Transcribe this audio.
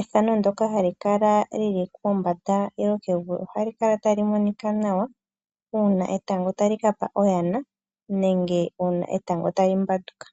Ethano ndoka hali kala lyili pombanda yokogelu ohali kala tali monika nawa uuna etango tali kapa oyana nenge uuna etango tali mbanduka.